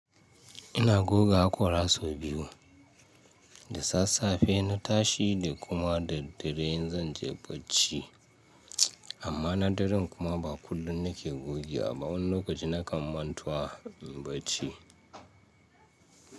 Ina goga hakora sau biyu, da sassafe na tashi da kuma da dare in zan je bacci. Amma na dare kuma ba kullum nake gogewa. Amma wani lokaci na kan mantawa in bacci.